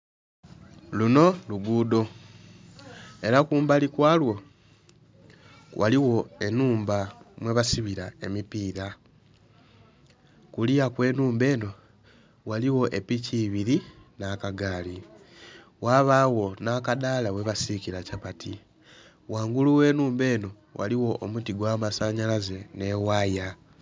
Luno luguudo ela kumbali kwalwo ghaligho ennhumba mwebasibira emipiira. Kuluya kw'ennhumba eno ghaligho epiki ibili n'akagaali ghabagho nakadaala webasiikira kyapati, wangulu w'ennhumba eno ghaligho omuti ogw'amasanhalaze n'ewaya.